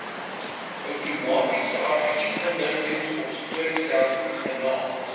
outomatiese argiefinligtingsopspoorstelsel genaamd